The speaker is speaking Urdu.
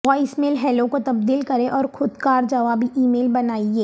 وائس میل ہیلو کو تبدیل کریں اور خود کار جوابی ای میل بنائیں